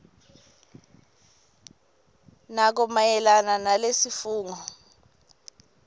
nako mayelana nalesifungo